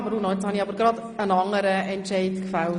Vanoni, ich habe gerade einen anderen Entscheid gefällt.